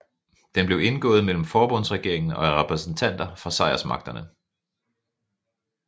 Den blev indgået mellem forbundsregeringen og repræsentanter fra sejrsmagterne